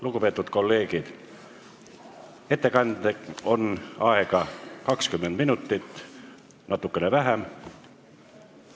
Lugupeetud kolleegid, ettekandjal on aega 20 minutit või natuke vähem.